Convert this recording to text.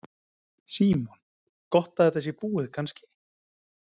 Símon: Gott að þetta sé búið kannski?